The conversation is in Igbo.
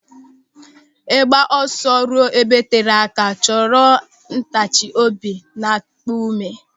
Ịgba ọsọ ruo ebe tere aka chọrọ ntachi obi na ịkpa ụme.